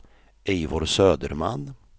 Eivor Söderman